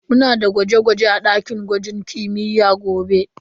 Muna da gwaje-gwaje a dakin gwajin kimiyya gobe.